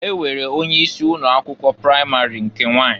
E nwere onye isi ụnọ akwụkwọ pramari nke nwanyị.